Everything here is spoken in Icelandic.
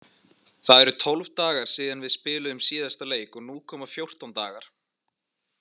Það eru tólf dagar síðan við spiluðum síðasta leik og nú koma fjórtán dagar.